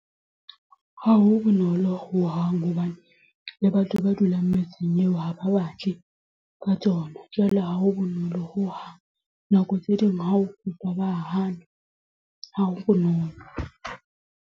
Ha ho bonolo ho hang. Hobane le batho ba dulang metseng eo ha ba batle, ka tsona. Jwale ha ho bonolo ho hang. Nako tse ding ha o kopa ba hana. Ha ho bonolo.